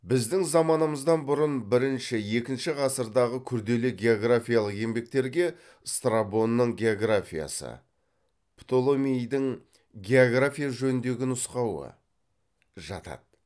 біздің заманымыздан бұрын бірінші екінші ғасырдағы күрделі географиялық еңбектерге страбонның географиясы птоломейдің география жөніндегі нұсқауы жатады